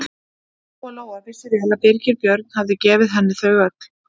Lóa-Lóa vissi vel að Birgir Björn hafði gefið henni þau öll.